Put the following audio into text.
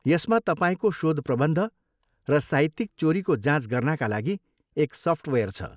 यसमा तपाईँको शोधप्रबन्ध र साहित्यिक चोरीको जाँच गर्नाका लागि एक सफ्टवेयर छ।